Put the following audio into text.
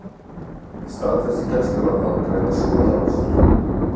Staðfest gæsluvarðhald vegna skotárásar